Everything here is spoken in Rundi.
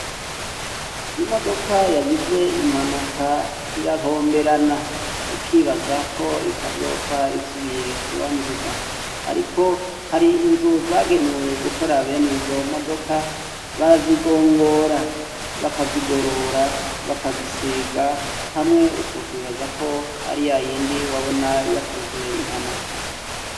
i modoka yagize impanuka irahomberana. ukibaza ko itazopfa isubiye kuba nzima. ariko hari inzu zagenewe gukora bene izo modoka, barazigongora, bakazigorora, bakazisiga, hamwe utokwibaza ko ari yayindi wabona yakoze impanuka.